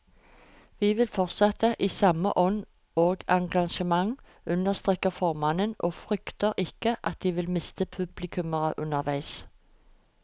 Vi vil fortsette i samme ånd og engasjement, understreker formannen og frykter ikke at de vil miste publikummere underveis.